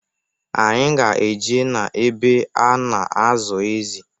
Anyị ga-eje na-ebe a na-azụ ezị.